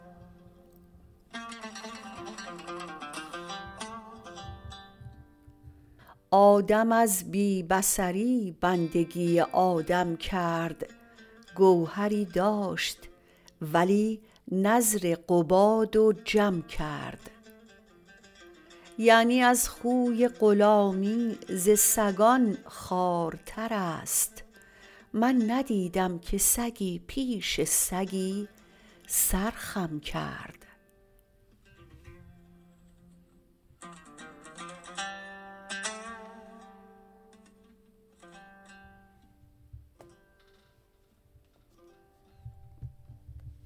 آدم از بی بصری بندگی آدم کرد گوهری داشت ولی نذر قباد و جم کرد یعنی از خوی غلامی ز سگان خوار تر است من ندیدم که سگی پیش سگی سر خم کرد